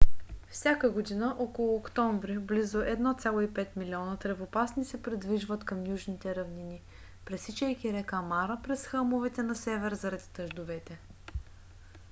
всяка година около октомври близо 1,5 милиона тревопасни се придвижват към южните равнини пресичайки река мара през хълмовете на север заради дъждовете